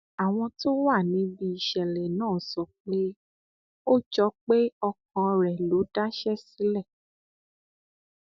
àwọn tó wà níbi ìṣẹlẹ náà sọ pé ó jọ pé ọkàn rẹ ló daṣẹ sílẹ